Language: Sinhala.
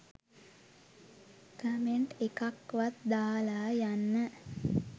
කමෙන්ට් එකක් වත් දාලා යන්න